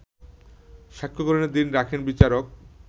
সাক্ষ্যগ্রহণের দিন রাখেন বিচারক